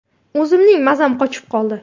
O‘zimning mazam qochib qoldi.